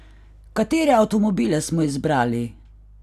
Katere avtomobile smo izbrali?